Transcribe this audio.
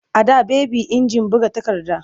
A da baby injin buga takarda.